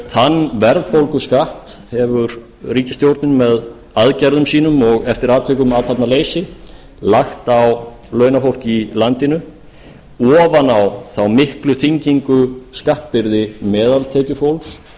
þann verðbólguskatt hefur ríkisstjórnin með aðgerðum sínum og eftir atvikum athafnaleysi lagt á launafólk í landinu ofan á þá miklu þyngingu skattbyrði meðaltekjufólks